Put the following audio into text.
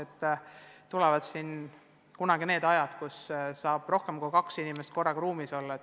Küllap tulevad kunagi jälle ka ajad, kus saab rohkem kui kaks inimest korraga ruumis olla.